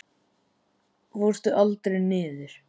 Fórstu aldrei niður?